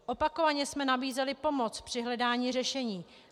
Opakovaně jsme nabízeli pomoc při hledání řešení.